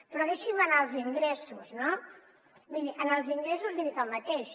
però deixi’m anar als ingressos no miri en els ingressos li dic el mateix